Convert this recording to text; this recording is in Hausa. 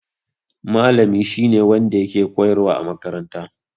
Malami shi ne wanda yake koyarwa a makaranta.